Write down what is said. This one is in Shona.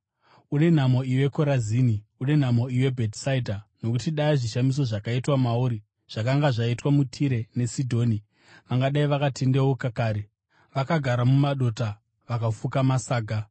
“Une nhamo iwe, Korazini! Une nhamo iwe, Bhetisaidha! Nokuti dai zvishamiso zvakaitwa mauri zvakanga zvaitwa muTire neSidhoni, vangadai vakatendeuka kare, vakagara mumadota vakafuka masaga.